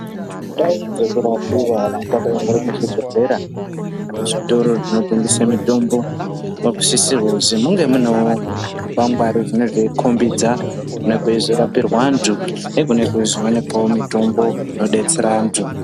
Ndau dzekurapira antu dzakaite zvibhedhlera kana muzvitoro zvinotengese mitombo dzinosisirwe kuzi munge munewo zvikwangwari zvinenge zveikhombidza kunenge kweizorapirwa antu nekunenge kweizowanikwawo mitombo inodetsera antu.